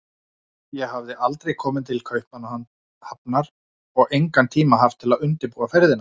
Ég hafði aldrei komið til Kaupmannahafnar og engan tíma haft til að undirbúa ferðina.